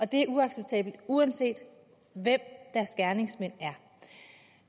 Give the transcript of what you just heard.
det er uacceptabelt uanset hvem deres gerningsmænd er